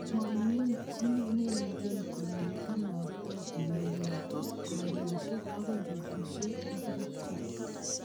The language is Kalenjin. Momichii neiingine kole kinaktoe urerenosiek akoi betusiek ingircho.